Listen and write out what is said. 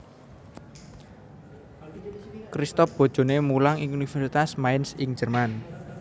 Christoph bojoné mulang ing Universitas Mainz ing Jerman